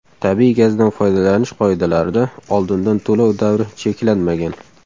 Tabiiy gazdan foydalanish qoidalarida oldindan to‘lov davri cheklanmagan.